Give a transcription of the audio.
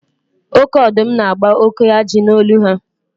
Oke ọdụm na-agba oke ajị n'olu ha.